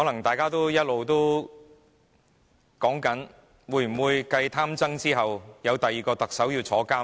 大家一直在談論，會否繼"貪曾"後，有第二名特首要入獄呢？